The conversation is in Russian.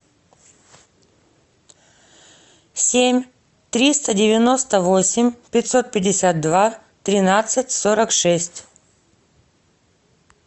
семь триста девяносто восемь пятьсот пятьдесят два тринадцать сорок шесть